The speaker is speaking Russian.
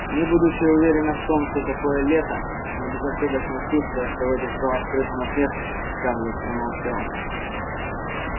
не будучи уверена в том что такое лета но безошибочно чувствуя что в этих словах скрыта насмешка скарлетт промолчала